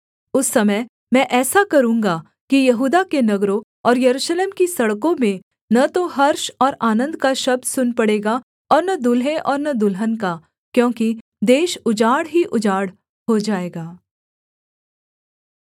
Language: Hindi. उस समय मैं ऐसा करूँगा कि यहूदा के नगरों और यरूशलेम की सड़कों में न तो हर्ष और आनन्द का शब्द सुन पड़ेगा और न दुल्हे और न दुल्हन का क्योंकि देश उजाड़ ही उजाड़ हो जाएगा